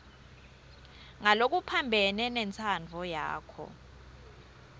ngalokuphambene nentsandvo yakho